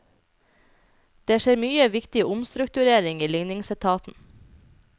Det skjer mye viktig omstrukturering i ligningsetaten.